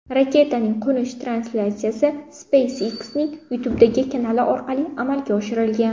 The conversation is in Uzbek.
Raketaning qo‘nish translyatsiyasi SpaceX’ning YouTube’dagi kanali orqali amalga oshirilgan .